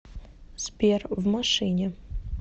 сбер в машине